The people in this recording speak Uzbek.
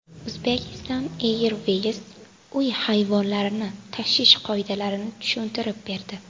Uzbekistan Airways uy hayvonlarini tashish qoidalarini tushuntirib berdi.